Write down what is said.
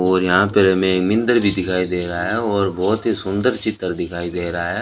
और यहां पे हमें भी दिखाई दे रहा है और बहोत ही सुंदर चित्र दिखाई दे रहा है।